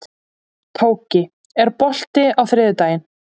Tóki, er bolti á þriðjudaginn?